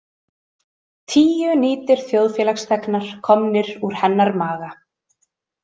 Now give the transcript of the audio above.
Tíu nýtir þjóðfélagsþegnar komnir úr hennar maga.